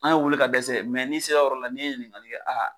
An y'o wele ka dɛsɛ mɛ n'i sera o yɔrɔ la n'i ye ɲiningali kɛ